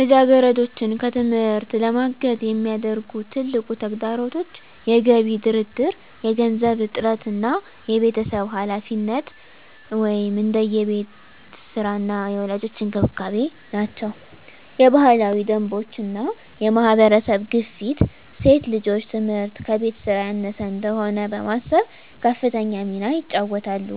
ልጃገረዶችን ከትምህርት ለማገድ የሚያደርጉ ትልቁ ተግዳሮቶች የገቢ ድርድር፣ የገንዘብ እጥረት እና የቤተሰብ ኃላፊነት (እንደ የቤት ሥራ እና የወላጆች እንክብካቤ) ናቸው። የባህላዊ ደንቦች እና የማህበረሰብ ግፊት ሴት ልጆች ትምህርት ከቤት ሥራ ያነሰ እንደሆነ በማሰብ ከፍተኛ ሚና ይጫወታሉ።